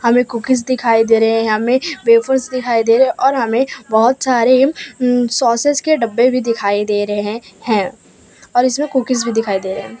Cookies दिखाई दे रहे हैं हमें वेफर्स दिखाई दे और हमें बहुत सारे अं सॉसेज के डब्बे भी दिखाई दे रहे हैं और इसमें कुकीज भी दिखाई दे रहे हैं।